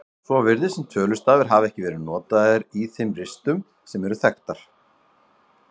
Svo virðist sem tölustafir hafi ekki verið notaðir í þeim ristum sem eru þekktar.